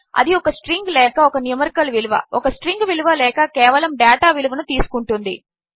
అదిఒకస్ట్రింగ్లేకఒకన్యూమరికల్విలువ ఒకస్ట్రింగ్విలువలేకకేవలముడేటావిలువనుతీసుకొంటుంది